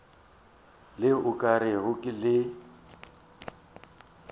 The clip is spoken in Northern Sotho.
le o ka rego le